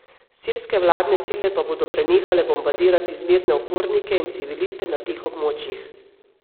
Sirske vladne sile pa bodo prenehale bombardirati zmerne upornike in civiliste na teh območjih.